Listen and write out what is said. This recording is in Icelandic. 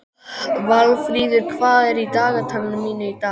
Valfríður, hvað er í dagatalinu mínu í dag?